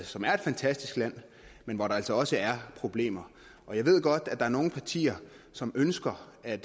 som er et fantastisk land men hvor der altså også er problemer jeg ved godt at der er nogle partier som ønsker at